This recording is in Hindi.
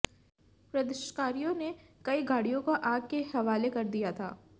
प्रदर्शकारियों ने कई गाडिय़ों को आग के हवाले कर दिया था